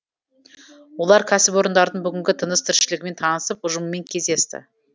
олар кәсіпорындардың бүгінгі тыныс тіршілігімен танысып ұжымымен кездесті